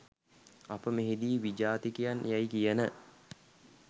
අප මෙහිදී විජාතිකයන් යැයි කියන